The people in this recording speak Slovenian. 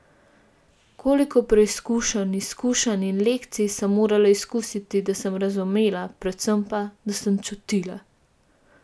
Koliko preizkušenj, izkušenj in lekcij sem morala izkusiti, da sem razumela, predvsem pa, da sem čutila!